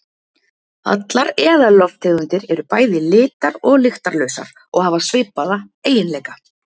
allar eðallofttegundir eru bæði litar og lyktarlausar og hafa svipaða eiginleika